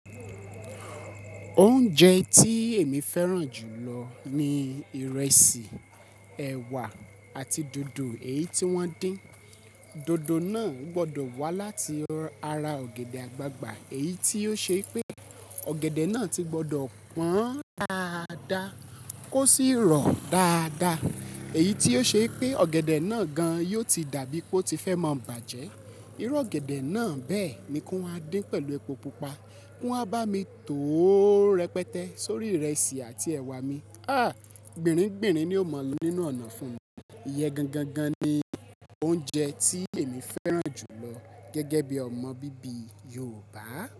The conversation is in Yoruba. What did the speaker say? Oúnjẹ tí èmi fẹ́ràn jù lọ ni ìrẹsì, ẹ̀wà àti dòdò èyí tí wọ́n dín. Dòdò náà gbọdọ̀ wá láti ara ọ̀gẹ̀dẹ̀ àgbagbà, èyí tí yóò ṣe pé ọ̀gẹ̀dẹ̀ náà ti gbọdọ̀ pọ́n dáadáa kó sì rọ̀ dáadáa, èyí tí yóò ṣe pé ọ̀gẹ̀dẹ̀ náà gan yóò ti dà bíi pé ó ti fẹ́ mọ bàjẹ́. Irú ọ̀gẹ̀dẹ̀ náà bẹ́ẹ̀ ni kò ma dín pẹ̀lú epo pupa, kó wa bá mi tòó rẹpẹtẹ sórí ìrẹsì àti ẹwà mi. Ah! Gbinrin gbìnrin ni ó mọ lọ nínú ọ̀nà fún mi. Iyẹ gan gan gan ni oúnjẹ tí èmi fẹ́ràn jù lọ gẹ́gẹ́ bí ọmọ bíbí Yorùbá.